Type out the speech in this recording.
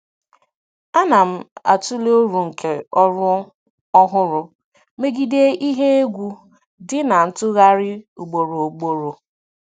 Ana m atụle uru nke ọrụ ọhụrụ megide ihe egwu dị na ntụgharị ugboro ugboro.